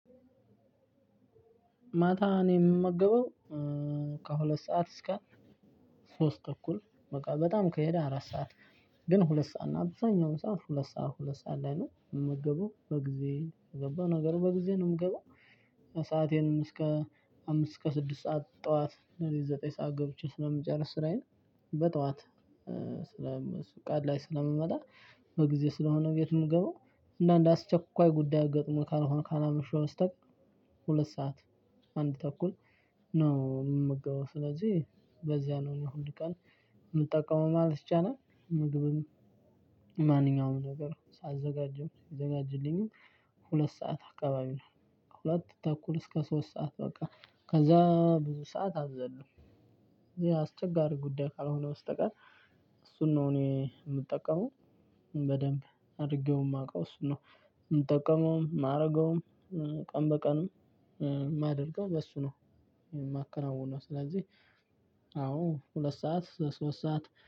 ማታ እኔ የምመገበው ከሁለት ሰዓት እስከ ሶስት ተኩል በቃ በጣም ከሄደ አራት ሰዓት ግን ሁለት ሰዓት ነው አብዙኛውን ሰዓት ሁለት ሰዓት ሁለት ሰዓት ላይ ነው። የምመገበው በጊዜ ከገባሁ፤ ነገሩ በጊዜ ነው የምገባው ሰአቴንም እስከ አምስት እስከ ስድስት ሰዓት ጥዋት ሌሊት ዘጠኝ ሰዓት ገብቼ ስለምጨርስ ስራዬን በጥዋት ቀን ላይ ስለምመጣ በጊዜ ስለሆነ ቤት ምገባው አና እንደ አስቸኳይ ጉዳይ ገጥሞኝ ካልሆነ ካላመሸሁ በስተቀር ሁለት ሰዓት አንድ ተኩል ነው የምገባው ስለዚህ በዚያ ነው እኔ ሁል ቀን የምጠቀመው ማለት ይቻላል። ምግብም ማንኛውም ነገር ሳዘጋጅም ሲዘጋጅልኝም ሁለት ሰዓት አካባቢ ነው። ሁለት ተኩል እስከ ሶስት ሰዓት በቃ ከዛ ብዙ ሰዓት አልዘልም። ያ አስቸጋሪ ጉዳይ ካልሆነ በስተቀር እሱን ነው እኔ የምጠቀመው በደንብ አድርጌው የማውቀው እሱን ነው። የምጠቀመውም የማደርገውም ቀን በቀንም የማደርገው በሱ ነው። የማከናውነው ስለዚህ አዎ ሁለት ሰዓት እስከ ሶስት ሰዓት